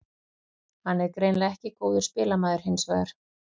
Hann er greinilega ekki góður spilamaður hinsvegar.